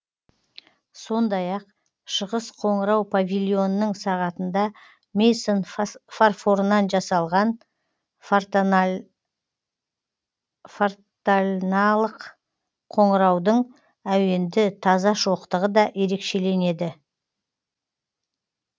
сондай ақ шығыс қоңырау павильонының сағатында мейсон фарфорынан жасалған фортальналық қоңыраудың әуенді таза шоқтығы да ерекшеленеді